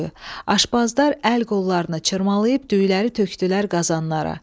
Aşpazlar əl-qollarını çırmalayıb düyüləri tökdülər qazanlara.